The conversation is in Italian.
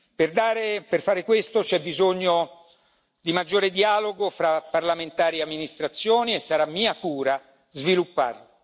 Per fare questo c'è bisogno di un maggiore dialogo fra parlamentari e amministrazione che sarà mia cura sviluppare.